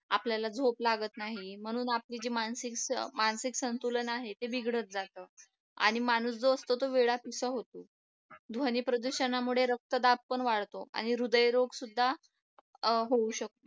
आपल्याला झोप लागत नाही म्हणून म्हणून आपली जी मानसिक मानसिक संतुलन आहे ते बिघडत जातो आणि माणूस जो असतो तो वेडापिसा होतो ध्वनी प्रदूषणामुळे रक्तदाब पण वाढतो आणि हृदयरोग सुद्धा होऊ शकतो